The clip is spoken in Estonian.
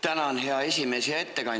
Tänan, hea esimees!